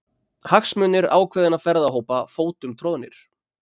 Hagsmunir ákveðinna ferðahópa fótum troðnir